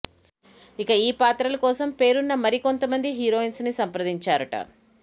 ఇక ఈ పాత్రలు కోసం పేరున్న మరికొంత మంది హీరోయిన్స్ ని సంప్రదించారుట